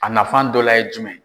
A nafan dɔ la ye jumɛn ?